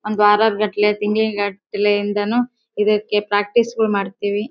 ಒಂದ್ ವರಾರ್ ಗಟ್ಲೆ ತಿಂಗ್ಳು ಗಟ್ಲೆ ಯಿಂದಲೂ ಇದಕ್ಕೆ ಪ್ರಾಕ್ಟೀಸ್ ಮಾಡ್ತೀವಿ.